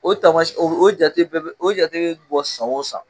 O tamasiyɛn o jate bɛɛ bɛ o jate bɔ san o san.